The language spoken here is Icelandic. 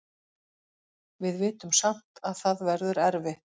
Við vitum samt að það verður erfitt.